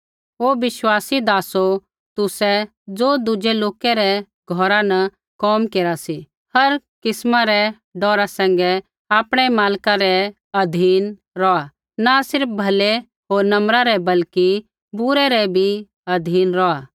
हे विश्वासी नोकरो तुसै ज़ो दुज़ै लोका रै घौरा न कोम केरा सी हर किस्मा रै डौरा सैंघै आपणै मालक रै अधीन रौहा न सिर्फ़ भलै होर नम्रा रै बल्कि बुरै रै भी अधीन रौहा